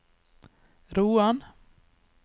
Roan